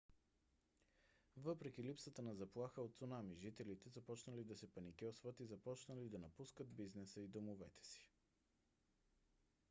въпреки липсата на заплаха от цунами жителите започнали да се паникьосват и започнали да напускат бизнеса и домовете си